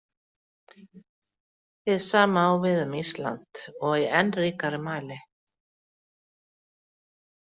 Hið sama á við um Ísland- og í enn ríkari mæli.